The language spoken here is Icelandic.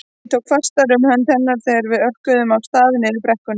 Ég tók fastar um hönd hennar þegar við örkuðum af stað niður brekkuna.